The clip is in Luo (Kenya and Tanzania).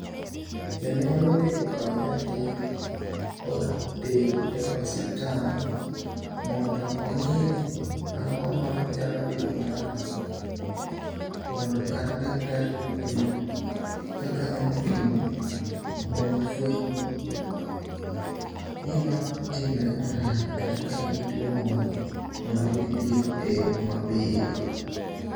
Janyuol onego okaw nyathi oter e osiptal mondo ong'i ni ang'o ma nyalo bedo marach. Mondo kata daktari oyud kaka nyalo pime mondo ofweny gima timre marach kata ka en gi tuo moro mondo yud thieth e yo mapiyo.